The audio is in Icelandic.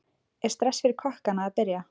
Er stress fyrir kokkana að byrja?